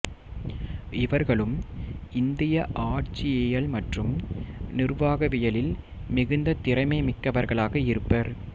இவர்களும் இந்திய ஆட்சியியல் மற்றும் நிருவாகவியலில் மிகுந்த திறமை மிக்கவர்களாக இருப்பர்